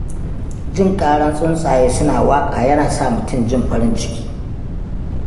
Jin ƙaran tsuntsaye suna waƙa yana sa mutum jin farin ciki.